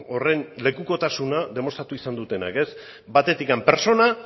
horren lekukotasuna demostratu izan dutenak batetik pertsona